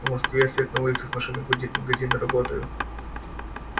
в москве свет на улицах машины гудит магазины работают